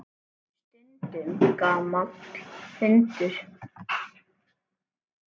Stundum gamall hundur.